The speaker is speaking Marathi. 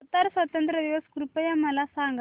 कतार स्वातंत्र्य दिवस कृपया मला सांगा